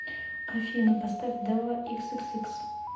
афина поставь дава иксиксикс